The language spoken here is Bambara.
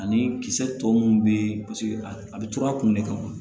Ani kisɛ tɔ mun bɛ paseke a bɛ tɔrɔ a kun de kama